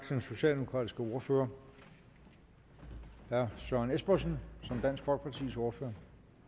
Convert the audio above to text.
den socialdemokratiske ordfører herre søren espersen som dansk folkepartis ordfører